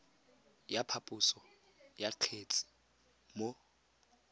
ya phaposo ya kgetse mo